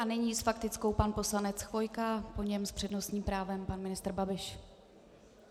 A nyní s faktickou pan poslanec Chvojka, po něm s přednostním právem pan ministr Babiš.